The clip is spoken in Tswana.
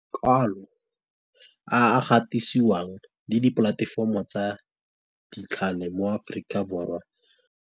Kwalo a a gatisiwang le di polatefomo tsa mo Aforika Borwa.